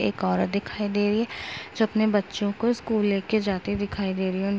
एक औरत दिखाई दे रही है जो अपने बच्चों को स्कूल लेके जाती दिखाई दे रही है। उन --